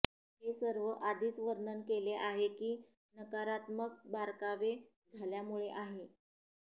हे सर्व आधीच वर्णन केले आहे की नकारात्मक बारकावे झाल्यामुळे आहे